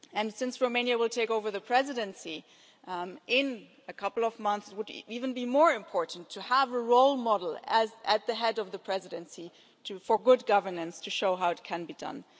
Since Romania will take over the presidency in a couple of months, it would be even more important to have a role model at the head of the Presidency for good governance to show how it can be done.